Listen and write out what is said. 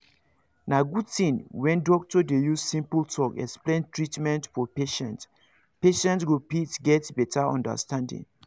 na good thing when doctor dey use simple talk explain treatment for patients patients go fit get better understanding